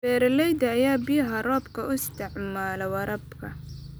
Beeralayda ayaa biyaha roobka u isticmaala waraabka.